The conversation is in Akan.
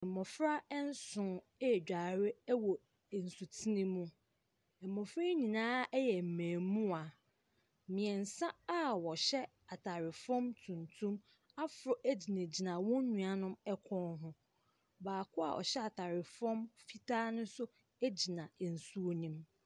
Mmɔfra ɛnson ɛɛdware ɛwɔ nsutene mu. Mmɔfra yi nyinaa ɛyɛ mmɛɛmuwaa. Mmiɛnsa a wɔhyɛ ataare fam tuntum aforo ɛgyinagyina wɔn nuanom ɛkɔn ho. Baako abɔhyɛ ataare fam fitaa no so ɛgyina ɛnsuo nem.